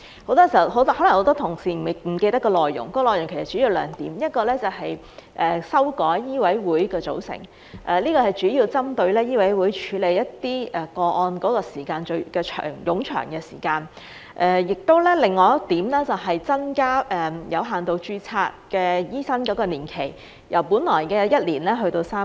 可能很多同事不記得有關內容，其實主要有兩點，其一是修改香港醫務委員會的組成，主要是針對醫委會處理一些個案的過程冗長；另一點是增加有限度註冊醫生的服務年期，由本來的1年延長至3年。